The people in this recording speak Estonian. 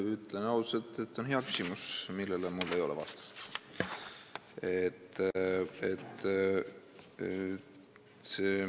Ma ütlen ausalt, et see on hea küsimus, millele mul ei ole vastust.